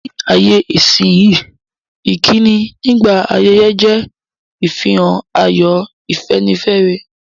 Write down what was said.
Ní ayé-isínyí, ìkíni nígbà ayẹyẹ je ìfihàn ayọ̀, ìfẹ́nifẹ́re.